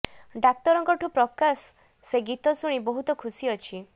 ଡାକ୍ତରଙ୍କଠୁ ପ୍ରକାଶ ଯେ ଗୀତ ଶୁଣି ବହୁତ ଖୁସି ଅଛି